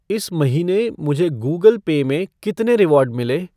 इस महीने मुझे गूगल पे में कितने रिवॉर्ड मिले?